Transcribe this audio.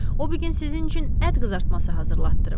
O bu gün sizin üçün ət qızartması hazırlatdırıb.